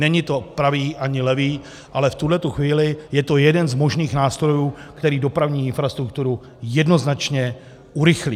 Není to pravý ani levý, ale v tuhletu chvíli je to jeden z možných nástrojů, který dopravní infrastrukturu jednoznačně urychlí.